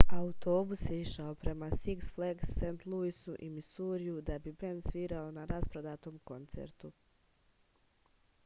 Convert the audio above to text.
autobus je išao prema siks flags sv luisu u misuriju da bi bend svirao na rasprodatom koncertu